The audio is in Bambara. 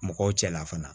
Mɔgɔw cɛla fana